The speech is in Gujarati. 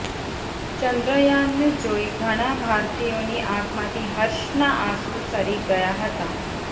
ચંદ્રયાનને જોઈ ઘણા ભારતીયોની આંખમાંથી હર્ષના આંસુ સરી ગયા હતા